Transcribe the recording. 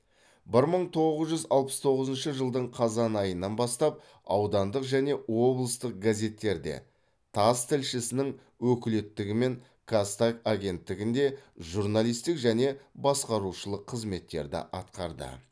бір мың тоғыз жүз алпыс тоғызыншы жылдың қазан айынан бастап аудандық және облыстық газеттерде тасс тілшісінің өкілеттігімен казтаг агенттігінде журналистік және басқарушылық қызметтерді атқарды